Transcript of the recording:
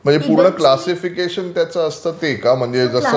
पूर्ण क्लासिफिकेशन त्याचं असतं ते का म्हणजे